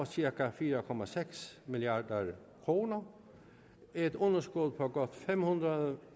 cirka fire milliard kroner et underskud på godt fem hundrede